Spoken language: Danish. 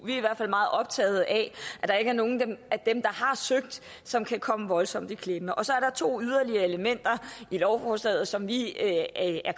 i hvert fald meget optaget af at der ikke er nogen af dem der har søgt som kan komme voldsomt i klemme så er der to yderligere elementer i lovforslaget som vi er